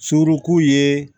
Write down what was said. Surunku ye